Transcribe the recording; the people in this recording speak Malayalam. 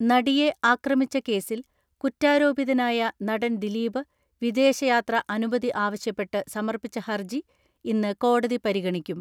നടിയെ ആക്രമിച്ച കേസിൽ കുറ്റാരോപിതനായ നടൻ ദിലീപ് വിദേശയാത്ര അനുമതി ആവശ്യപ്പെട്ട് സമർപ്പിച്ച ഹർജി ഇന്ന് കോടതി പരിഗണിക്കും.